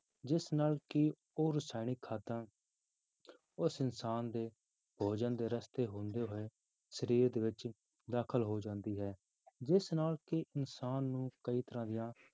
ਜਿਸ ਨਾਲ ਕਿ ਉਹ ਰਸਾਇਣਿਕ ਖਾਦਾਂ ਉਸ ਇਨਸਾਨ ਦੇ ਭੋਜਨ ਦੇ ਰਸਤੇ ਹੁੰਦੇ ਹੋਏ ਸਰੀਰ ਦੇ ਵਿੱਚ ਦਾਖਲ ਹੋ ਜਾਂਦੀ ਹੈ ਜਿਸ ਨਾਲ ਕਿ ਇਨਸਾਨ ਨੂੰ ਕਈ ਤਰ੍ਹਾਂ ਦੀਆਂ